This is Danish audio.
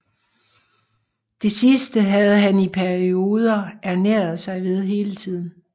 Det sidste havde han i perioder ernæret sig ved hele tiden